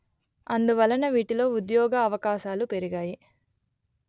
అందువలన వీటిలో ఉద్యోగవకాశాలు పెరిగాయి